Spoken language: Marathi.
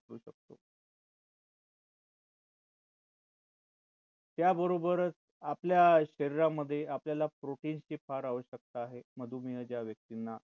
त्याबरोबरच आपल्या शरीरामध्ये आपल्याला protein ची फार आवश्यकता आहे. मधुमेह ज्या व्यक्तींना असते